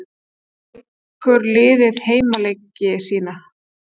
Hvar leikur liðið heimaleiki sína?